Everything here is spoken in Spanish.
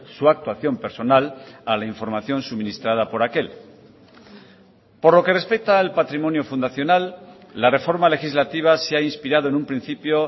su actuación personal a la información suministrada por aquel por lo que respecta al patrimonio fundacional la reforma legislativa se ha inspirado en un principio